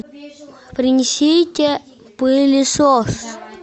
принесите пылесос